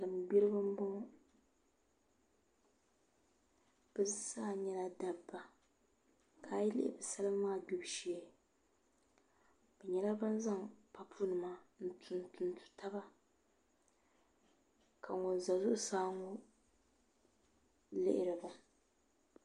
Salin gbiribi n boŋo bi zaa nyɛla dabba ka ayi lihi bi salima maa gbibu shee bi nyɛla ban zaŋ papu nima n tuntu taba ka ŋun ʒɛ zuɣusaa ŋo lihiri ba